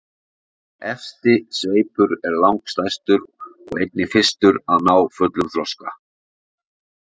efsti sveipur er langstærstur og einnig fyrstur að ná fullum þroska